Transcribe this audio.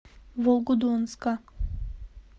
волгодонска